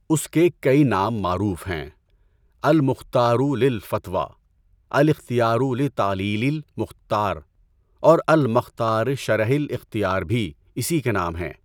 اس کے کئی نام معروف ہیں۔ اَلمُختارُ لِلفَتوىٰ، اَلاِختيارُ لِتَعليلِ الْمُختار اور اَلمختار شرح الاِختِیار بھی اسی کے نام ہیں۔